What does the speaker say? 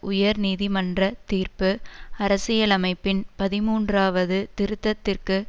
உயர் நீதிமன்ற தீர்ப்பு அரசியலமைப்பின் பதின்மூன்றாவது திருத்தத்திற்கு